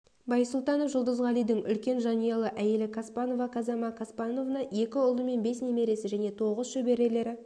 байсултанов жулдызгалидың үлкен жанұялы әйелі каспанова казама каспановна екі ұлы мен бес немересі және тоғыз шөберелері